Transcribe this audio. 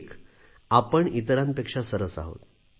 एक आपण इतरांपेक्षा सरस आहोत